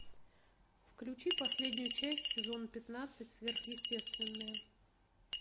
включи последнюю часть сезона пятнадцать сверхъестественное